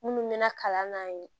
Minnu mɛɛnna kalan na yen